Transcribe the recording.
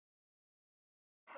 Hvaða fólk?